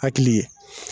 Hakili ye